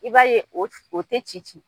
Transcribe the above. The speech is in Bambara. I b'a ye o tɛ ci ci.